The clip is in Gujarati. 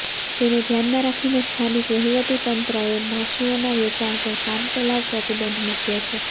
તેને ધ્યાનમાં રાખીને સ્થાનિક વહીવટીતંત્રેએ પશુઓના વેચાણ પર કામચલાઉ પ્રતિબંધ મૂક્યો છે